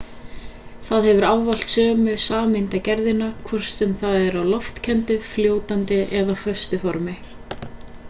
það hefur ávallt sömu sameindagerðina hvort sem það er á loftkenndu fljótandi eða föstu formi